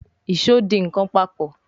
Ìṣó dì nkán papọ̀.